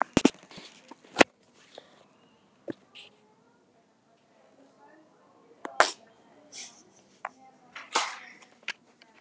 Hefurðu séð árangurinn?